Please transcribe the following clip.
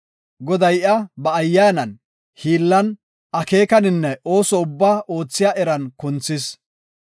Goday iya ba Ayyaanan, hiillan, akeekaninne ooso ubbaa oothiya eran kunthis.